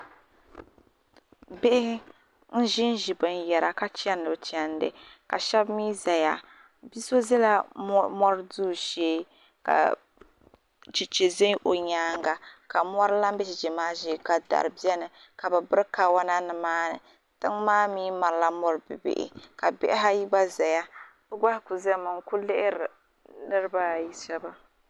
bihi n-ʒi ʒi binyɛra ka chani bɛ chandi ka shɛba mi zaya bi' so zala mɔri duu shee ka Cheche ʒe o nyaaga ka mɔri lan be cheche maa shee ka dari beni ka bɛ biri kawana ni maa ni tiŋa maa mi mali la mɔri bi' bihi ka bihi ayi gba zaya so gba zaa ku zami n-kuli lihiri niriba ayi shɛba.